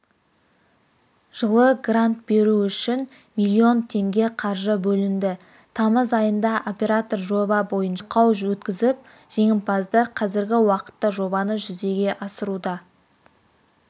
жылы грант беру үшін миллион теңге қаржы бөлінді тамыз айында оператор жоба бойынша байқау өткізіп жеңімпаздар қазіргі уақытта жобаны жүзеге асыруда